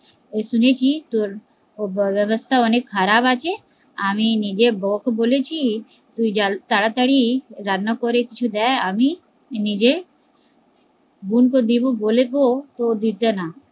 শুনেছি ওর ব্যবহার টা অনেক খারাপ আছে, আমি নিজের বৌ কে বলেছি তুই জল তাড়াতাড়ি রান্না করে কিছু দে আমি নিজের বোন কে দেব বলবো তো দিতে না